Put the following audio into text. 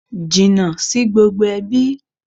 Jìnnà sí gbogbo ẹbí!